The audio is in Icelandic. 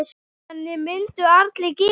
Þannig myndu allir græða.